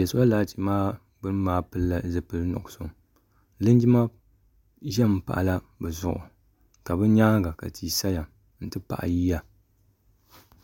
zuɣusaa maa pilila zipili nuɣso linjima ʒɛmi n pahala bi zuɣu ka bi nyaanga ka tihi saya n ti pahi yiya nyɛla zaɣ sabinli ban ʒɛ soli laati maa gbuni